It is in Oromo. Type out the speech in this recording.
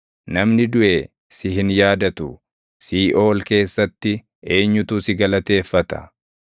Namni duʼe si hin yaadatu. Siiʼool keessatti eenyutu si galateeffata?